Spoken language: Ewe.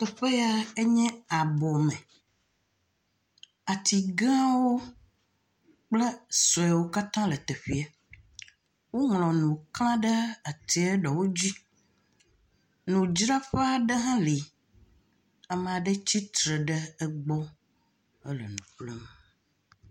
Teƒe ya enye abɔ me, ati gãwo kple sɔewo katã hã le teƒee, woŋlɔ nu kla ɖe atie ɖewo dzi, nudzraƒe aɖe hã le, ame aɖewo tsitre ɖe egbɔ, ele nu ƒlem.